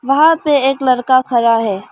वहां पे एक लड़का खड़ा है।